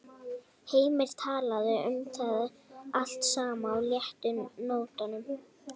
Heimir talaði um það allt saman á léttu nótunum.